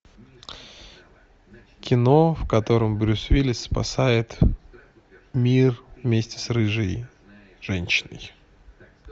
кино в котором брюс уиллис спасает мир вместе с рыжей женщиной